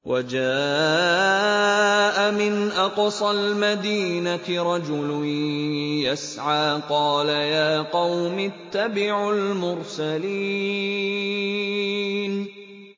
وَجَاءَ مِنْ أَقْصَى الْمَدِينَةِ رَجُلٌ يَسْعَىٰ قَالَ يَا قَوْمِ اتَّبِعُوا الْمُرْسَلِينَ